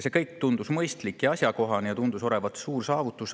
See kõik tundus mõistlik ja asjakohane, tundus olevat suur saavutus.